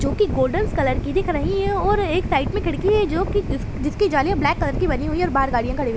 जो की गोल्डनस कलर की दिख रही है और एक साइड में खिड़की है जो की जिस जिसकी जालीया ब्लैक कलर की बनी हुई है और बाहर गाड़िया खड़ी हुई है।